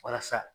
Walasa